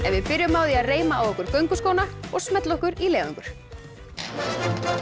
við byrjum á því að reima á okkur gönguskóna og smella okkur í leiðangur það